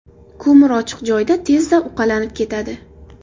Ko‘mir ochiq joyda tezda uqalanib ketadi.